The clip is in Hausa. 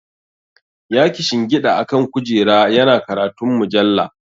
Ya kishingida akan kujera yana karanta mujalla.